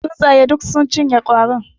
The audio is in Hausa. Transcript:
Tsuntsaye duk sun cinye kwarin.